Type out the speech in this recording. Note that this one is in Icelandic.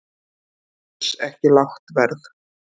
Alls ekki lágt verð